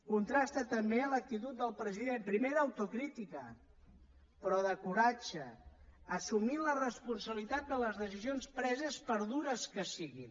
contrasta també l’actitud del president primer d’autocrítica però de coratge assumint la responsabilitat de les decisions preses per dures que siguin